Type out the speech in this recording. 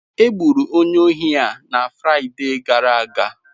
Egburu onye ohi a na Fraịde gara aga.